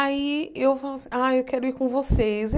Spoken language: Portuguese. Aí eu falo assim, ah, eu quero ir com vocês.